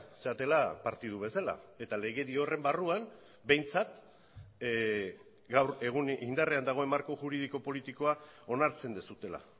zaretela partidu bezala eta legedi horren barruan behintzat gaur egun indarrean dagoen marko juridiko politikoa onartzen duzuela